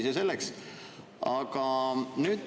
See selleks.